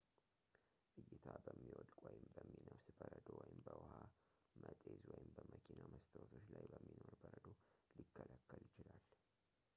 ዕይታ በሚወድቅ ወይም በሚነፍስ በረዶ ወይም በውሃ መጤዝ ወይም በመኪና መስታወቶች ላይ በሚኖር በረዶ ሊከለከል ይችላል